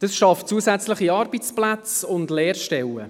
Dies schafft zusätzliche Arbeitsplätze und Lehrstellen.